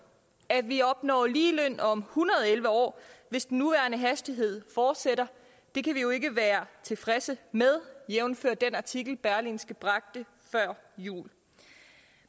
at vi opnår ligeløn om hundrede og elleve år hvis den nuværende hastighed fortsætter kan vi jo ikke være tilfredse med jævnfør den artikel berlingske bragte før jul